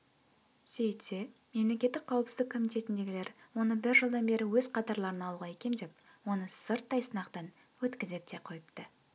сөйтсе мемлекеттік қауіпсіздік комитетіндегілер оны бір жылдан бері өз қатарларына алуға икемдеп оны сырттай сынақтан өткізіп те қойыпты